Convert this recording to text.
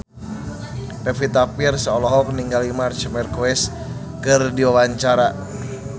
Pevita Pearce olohok ningali Marc Marquez keur diwawancara